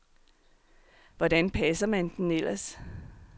Hvordan passer man den ellers.